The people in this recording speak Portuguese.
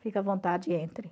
Fique à vontade e entre.